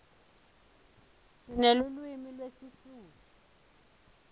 sinelulwimi lesisutfu